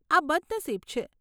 આ બદનસીબ છે.